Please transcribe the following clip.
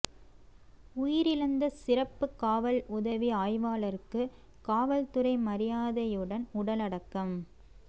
உயிரிழந்த சிறப்பு காவல் உதவி ஆய்வாளருக்கு காவல்துறை மரியாதையுடன் உடல் அடக்கம்